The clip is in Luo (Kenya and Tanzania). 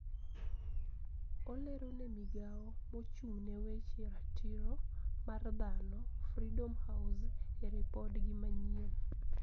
Olero ne migao mochung` ne weche ratiro mar dhano , Freedom House, e ripodgi manyien